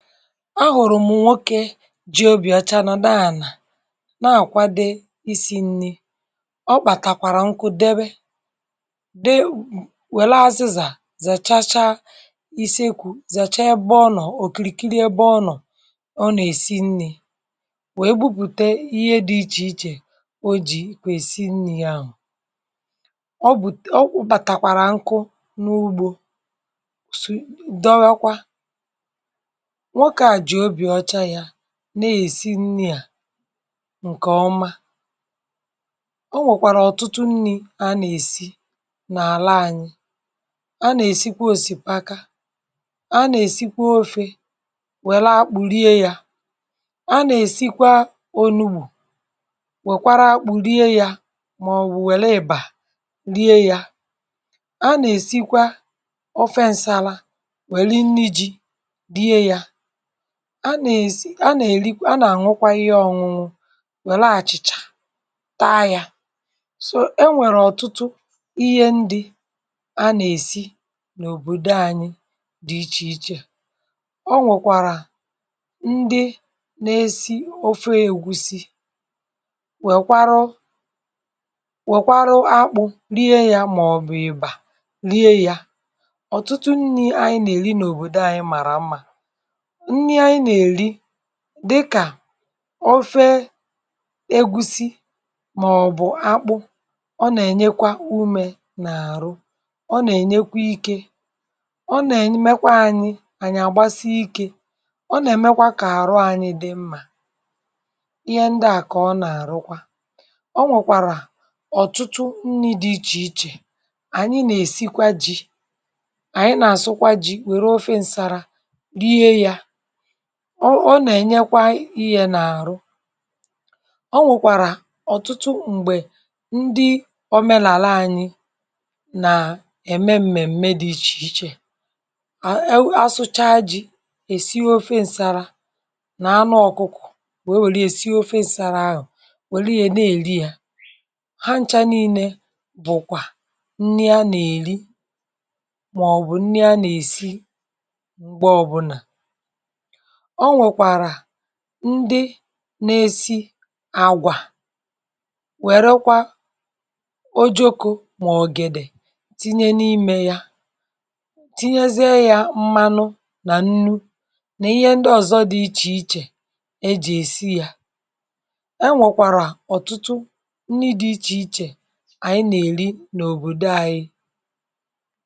Ahùrụ̀m̀ nwoke jìe obi ọcha, nọ̀ dị, anàà na-àkwa, dó isi̇ nni̇. Ọ kpàtàkwàrà nkụ, dịbì dị, wèlè azịzà, zèchacha isekwu̇, zèchaa ebe ọ nọ̀. Òkìrìkiri ebe ọ nọ̀, ọ nà-èsi nni̇, wee bupùte ihe dị iche iche o jì kwè esi nni̇ ahụ̀. Ọ bụ̀ ọ kpàtàkwàrà nkụ n’ugbȯ, sù dọghe kwa, nwokè à jì obi ọcha ya na-èsi nni̇ à ǹkè ọma. Ọ nwèkwàrà ọ̀tụtụ nni̇ a nà-èsi n’àla ànyị. A nà-èsikwa osìkapa, a nà-èsikwa ofé, wèlà akpụ̀ rie ya. A nà-èsikwa onúgbù, wèkwarà akpụ̀ rie ya, màọ̀bụ̀ wèlụ ị̀bà rie ya um. A nà-èsikwa ọfénsàla, wèli nni ji rie ya. A nà-èri um. A nà-ànwụkwa ihe ọṅụṅụ, wèlè àchị̀chà, taa yà sò um. Ẹ nwèré ọ̀tụtụ ihe ndị a nà-èsi n’òbòdo ànyị̇, dị̇ iche iche. Ọ nwèkwàrà ndị na-èsi ofé ègúsí, wèkwarụ wèkwarụ akpụ rie yà, màọ̀bụ̀ ị̀bà rie yà. Ọ̀tụtụ nni ànyị na-èri n’òbòdo ànyị̇, màrà mma, ndị ànyị nà-èri, dịkà ofé ègúsí, màọ̀bụ̀ akpụ. Ọ nà-ènyekwa ume n’àrụ, ọ nà-ènyekwa ike, ọ nà-èmekwa anyị ànyị àgbasa ike, ọ nà-èmekwa kà àrụ anyị dị mma, ihe ndị à kà ọ nà-àrụkwa. Ọ nwèkwàrà ọ̀tụtụ nri dị iche iche ànyị nà-èsikwa ji, ànyị nà-àsụkwa ji, wèrè ofé ǹsàla rie yaà. Ọ ọ nà-ènyekwa ihe n’àrụ. Ọ nwèkwàrà ọ̀tụtụ mgbè ndị omenàla anyị nà-ème mmèmme, dị iche iche um. A, a, asụchaa ji̇, èsi ofé ǹsàrà nà anụ ọ̀kụkụ̀, wee wèli èsi ofé ǹsàrà ahụ̀, wèli ya, na-èli ya. Ha ncha niile bụ̀kwà nni a nà-èli, màọ̀bụ̀ nni a nà-èsi, mgbè ọbụlà. Ọ nwèkwàrà ndị nà-èsi àgwà, wèrèkwà ojoko, mà ògèdè, tinye n’ime yà, tinyezie yà, tinyezie ya mmanụ nà nnu, nà ihe ndị ọ̀zọ, dị iche iche, ejì èsi yà. E nwèkwàrà ọ̀tụtụ nni, dị̇ iche iche, ànyị nà-èri n’òbòdo ànyị.